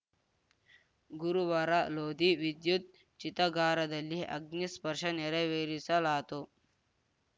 ಗುರುವಾರ ಲೋಧಿ ವಿದ್ಯುತ್‌ ಚಿತಗಾರದಲ್ಲಿ ಅಗ್ನಿಸ್ಪರ್ಶ ನೆರವೇರಿಸಲಾತು